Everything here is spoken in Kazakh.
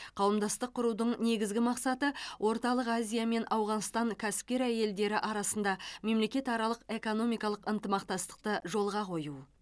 қауымдастық құрудың негізгі мақсаты орталық азия мен ауғанстан кәсіпкер әйелдері арасында мемлекетаралық экономикалық ынтымақтастықты жолға қою